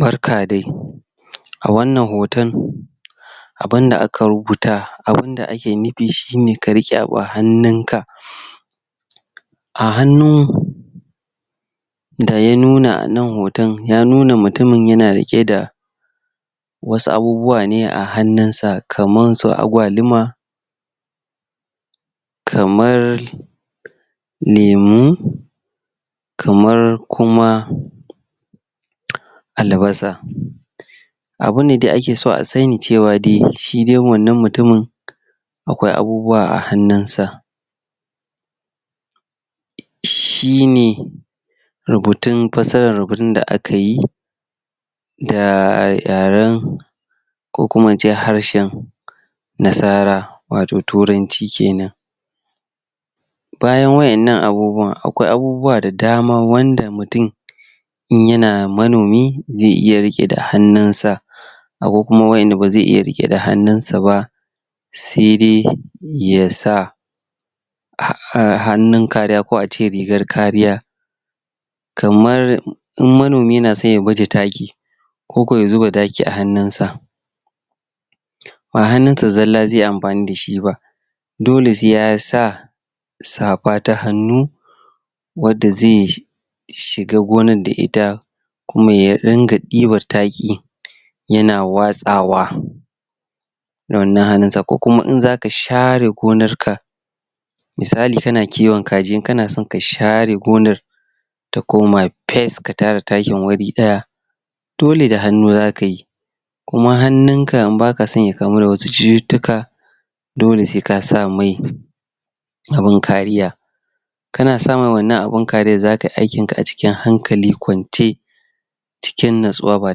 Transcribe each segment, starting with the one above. Barka dai a wannan hoton abunda aka rubuta abunda ake nufi shine ka riƙe abu a hannunka a hannu da ya nuna nan hoton ya nuna mutumin yana riƙe da wasu abubuwa ne a hannun sa kamar su agwaluma kamar lemu kamar kuma albasa abu ne da ake so a sani cewa dai shi dai wannan mutumin akwai abubuwa a hannunsa shine rubutun fassaran rubutun da aka yi da yareb ko kuma ince harshen nasara watau turanci kenan bayan wwa'innan abubuwan akwai abubuwa da dama wanda mutum in yana manomi zai iya riƙewa da hannunsa akwai kuma wanda ba zai iya riƙewa da hannunsa ba Sai dai ya sa hannun kariya ko ince rigar kariya kamar in manomi yana so ya baje taki ko kuma ya zuba taki da hannunsa ba hannunsa zalla zai yi amfani da shi ba dole sai ya sa safa ta hannu wadda zai shiga gonan da ita kuma ya ringa ɗiban taki yana watsawa da wannan hannun sa ko kuma in zaka share gonar ka misali kana kiwon kaji in kana son ka share gonar ta koma fes ta tara takin wuri ɗaya dole da hannu zaka yi kuma hannunka in baka so ya kamu da wasu cututtuka dole sai ka sa mai abun kariya kana sa mai wannan abun kariyan zaka yi aikin ka cikin hankali kwance ciki nutsuwa ba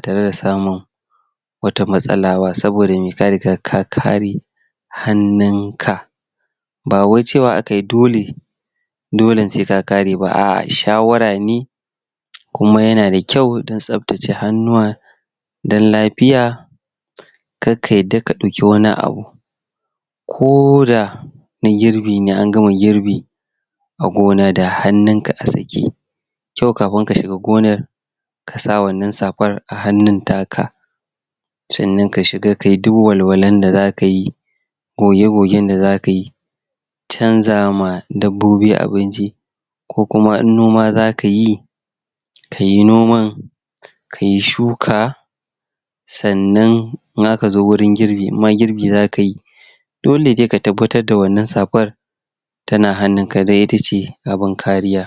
tare da samun wata matsala ba saboda me, ka riga ka kare hannun ka ba wai cewa aka yi dole dole sai ka kare ba a'a, shawara ne kuma yana da kyau tsaftace hannuwa don lafiya kar ka yadda ya ɗauki wani abu koda na girbi ne an gama girbi a gona da hannunka a sake kyau kafin ka shiga gonan ka sa wannan safar a hannun taka sannan ka shiga kayi duk walwalan da zaka yi goge gogen da zaka yi canza ma dabbobi abinci ko kuma noma zaka yi kai noman kayi shuka sannan in aka zo wurin girbi in ma girbi zaka yi dole dai ka tabbatar da wannan safar tana hannunka don itace abun kariya.